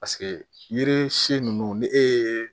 Paseke yiri si ninnu ni e ye